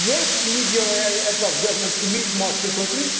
governance. Yes, we need the euro area heads of government to meet